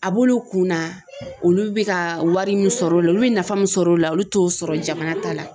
A b'olu kunna olu bɛ ka wari min sɔrɔ o la olu bɛ nafa min sɔrɔ o la olu t'o sɔrɔ jamana ta la.